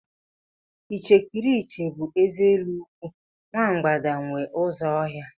Ichekiriche bụ eze élú nkwụ, nwa mgbada nwe ụzọ ọhịa.